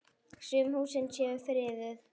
Sum húsin séu friðuð.